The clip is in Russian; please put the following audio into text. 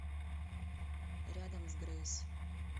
рядом с грейс